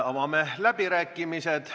Avame läbirääkimised.